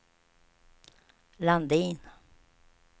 Landin